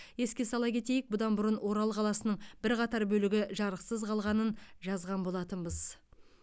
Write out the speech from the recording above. еске сала кетейік бұдан бұрын орал қаласының бірқатар бөлігі жарықсыз қалғанын жазған болатынбыз